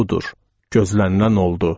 Budur, gözlənilən oldu.